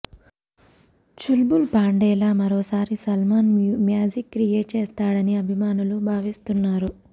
చుల్బుల్ పాండేగా మరోసారి Salman magic create చేస్తాడని అభిమానులు భావిస్తున్నారు